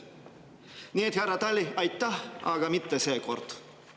Nii et, härra Tali, aitäh, aga mitte seekord.